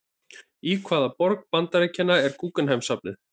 Í hvaða borg Bandaríkjanna er Guggenheim-listasafnið?